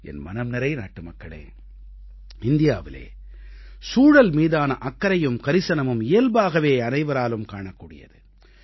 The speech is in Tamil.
என் மனம் நிறை நாட்டுமக்களே இந்தியாவிலே சூழல் மீதான அக்கறையும் கரிசனமும் இயல்பாகவே அனைவராலும் காணக்கூடியது